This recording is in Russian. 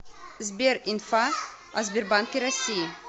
сбер инфа о сбербанке россии